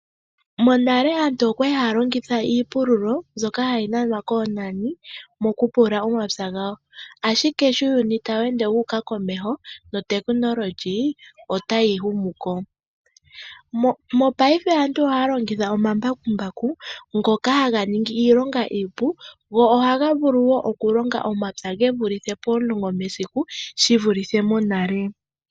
Monale aantu okwa li haya longitha iipululo mbyoka hayi nanwa koonani mokupulula omapya gawo. Ashike sho uuyuni tawu ende wuuka komeho notekinolohi otayi humu komeho. Mongashingeyi aantu ohaya longitha omambakumbaku ngoka haga ningi iilonga iipu go ohaga vulu wo okulonga omapya gevulithe pomulongo mesiku shi vulithe monale.